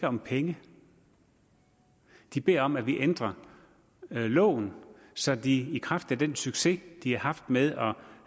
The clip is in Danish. om penge de beder om at vi ændrer loven så de i kraft af den succes de har haft med